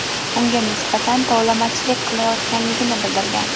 unga nisbatan tovlamachilik qilayotganligini bildirgan.